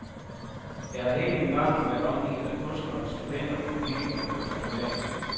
Jeg har hele min barndom været omgivet af kunstnere, skribenter, politikere og diplomater.